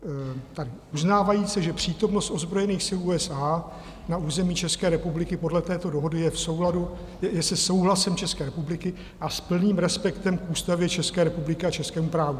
"uznávajíce, že přítomnost ozbrojených sil USA na území České republiky podle této dohody je se souhlasem České republiky a s plným respektem k Ústavě České republiky a českému právu".